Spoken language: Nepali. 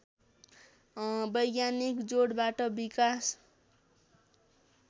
वैज्ञानिक जोडबाट विकास